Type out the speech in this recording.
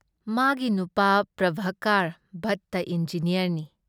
ꯃꯥꯒꯤ ꯅꯨꯄꯥ ꯄ꯭ꯔꯚꯥꯀꯔ ꯚꯠꯇ ꯏꯟꯖꯤꯅꯤꯌꯥꯔꯅꯤ ꯫